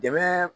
Dɛmɛ